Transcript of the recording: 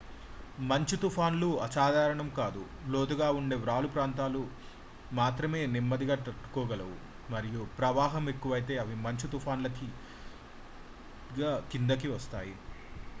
మంచు తుఫాన్లు అసాధారణం కాదు లోతుగా ఉండే వాలు ప్రాంతాలు మాత్రమే నెమ్మదిగా తట్టుకోగలవు మరియు ప్రవాహం ఎక్కువైతే అవి మంచు తుఫాన్లుగా కిందకి వస్తాయి